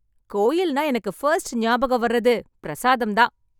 கோயில் நா எனக்கு ஃபர்ஸ்ட் ஞாபகம் வரது பிரசாதம் தான்